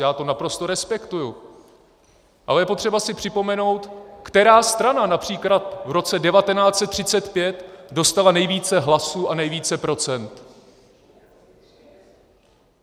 Já to naprosto respektuji, ale je potřeba si připomenout, která strana například v roce 1935 dostala nejvíce hlasů a nejvíce procent.